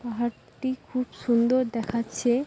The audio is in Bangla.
পাহাড়টি খুব সুন্দর দেখাচ্ছে ।